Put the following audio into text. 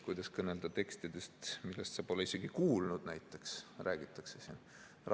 Kuidas kõnelda tekstidest, millest sa pole näiteks isegi kuulnud, räägitakse siin.